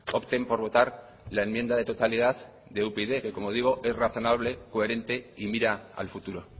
opten por votar la enmienda de totalidad de upyd que como digo es razonable coherente y mira al futuro